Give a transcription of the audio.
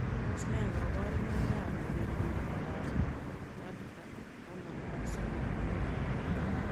Tos nee kabarunoik ap ngeringindop Pacta taman ak somok eng portoo?